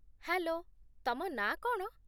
Hello, ତମ ନାଁ କ'ଣ?